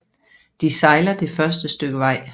De sejler det første stykke vej